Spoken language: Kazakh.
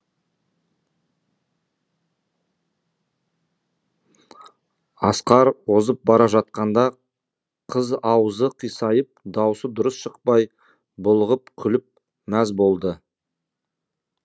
асқар озып бара жатқанда қыз аузы қисайып даусы дұрыс шықпай булығып күліп мәз болды